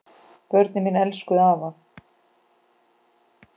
Börnin mín elskuðu afa.